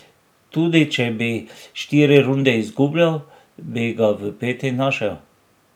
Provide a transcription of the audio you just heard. Tudi če bi štiri runde izgubljal, bi ga v peti našel.